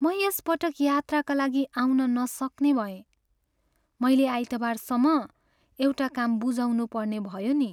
म यस पटक यात्राका लागि आउन नसक्ने भएँ। मैले आइतबारसम्म एउटा काम बुझाउनुपर्ने भयो नि।